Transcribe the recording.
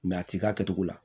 a ti k'a kɛcogo la